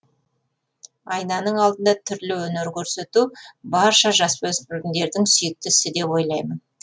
айнаның алдында түрлі өнер көрсету барша жасөспірімдердің сүйікті ісі деп ойлаймын